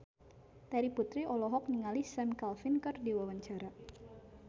Terry Putri olohok ningali Sam Claflin keur diwawancara